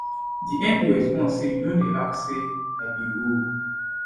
di mp respond say you don dey ask say i be who